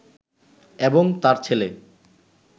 এবং তাঁর ছেলে